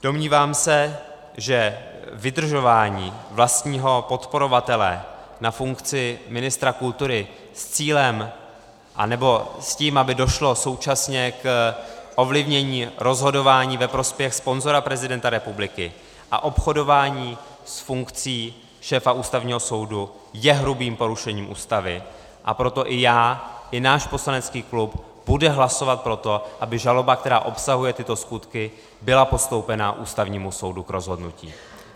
Domnívám se, že vydržování vlastního podporovatele na funkci ministra kultury s cílem, anebo s tím, aby došlo současně k ovlivnění rozhodování ve prospěch sponzora prezidenta republiky, a obchodování s funkcí šéfa Ústavního soudu je hrubým porušením Ústavy, a proto i já i náš poslanecký klub budeme hlasovat pro to, aby žaloba, která obsahuje tyto skutky, byla postoupena Ústavnímu soudu k rozhodnutí.